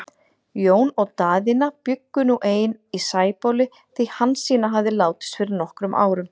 Jón og Daðína bjuggu nú ein í Sæbóli, því Hansína hafði látist fyrir nokkrum árum.